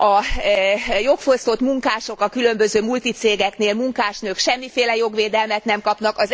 A jogfosztott munkások a különböző multicégeknél, a munkásnők, semmiféle jogvédelmet nem kapnak.